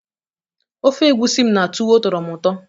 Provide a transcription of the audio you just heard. ofe egusi m na tuwo tọrọ m ụtọ